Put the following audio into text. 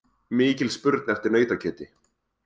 Mikil spurn eftir nautakjöti